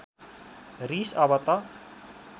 रिस अब त